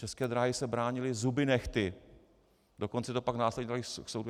České dráhy se bránily zuby nehty, dokonce to pak následně daly k soudu.